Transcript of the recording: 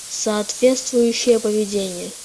соответствующее поведение